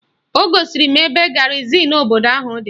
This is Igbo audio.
O gosiri m ebe garịzịn obodo ahụ dị